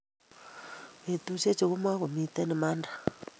petushechu ko makomitei imanda